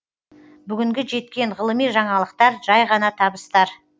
бүгінгі жеткен ғылыми жаңалықтар жай ғана табыстар